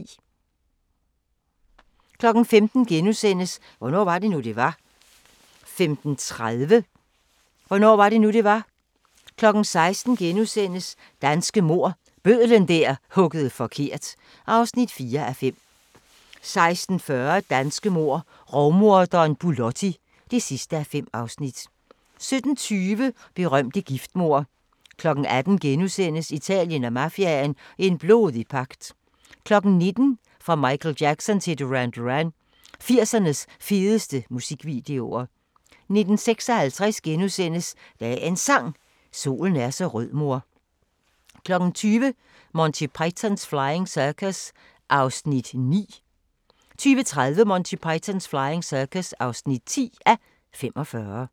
15:00: Hvornår var det nu, det var? * 15:30: Hvornår var det nu, det var? 16:00: Danske mord – Bødlen der huggede forkert (4:5)* 16:40: Danske mord: Rovmorderen Bulotti (5:5) 17:20: Berømte giftmord 18:00: Italien og mafiaen – en blodig pagt * 19:00: Fra Michael Jackson til Duran Duran – 80'ernes fedeste musikvideoer 19:56: Dagens Sang: Solen er så rød mor * 20:00: Monty Python's Flying Circus (9:45) 20:30: Monty Python's Flying Circus (10:45)